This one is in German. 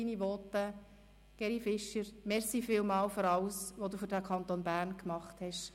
Geri Fischer, vielen Dank für alles, was du für den Kanton Bern getan hast.